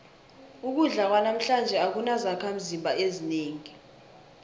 ukudla kwanamhlanje akunazakhimzimba ezinengi